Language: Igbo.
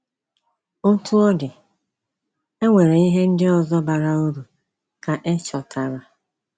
Otú ọ dị, e nwere ihe ndị ọzọ bara uru ka e chọtara.